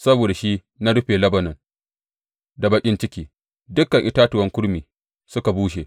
Saboda shi na rufe Lebanon da baƙin ciki, dukan itatuwan kurmi suka bushe.